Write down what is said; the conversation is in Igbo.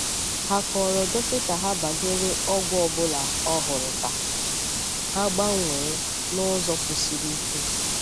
Hà kọ́rò dọkịta ha banyere ọgwụ ọ bụla ọhụrụ ka ha gbanwee n’ụzọ kwụsiri ike.